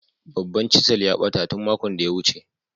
Babban "chisel " a bata tun makon da ya wuce.